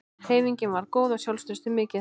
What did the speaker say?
Hreyfingin var góð og sjálfstraustið mikið.